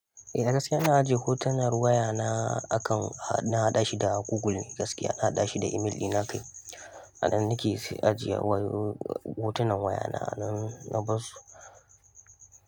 Eh da gaskiya ina ajiye hotunan waya na akan na haɗa shi da Google ne gaskiya, na haɗa shi da email dina kai. Anan na ke ajiyewa hotunan wayana na barsu.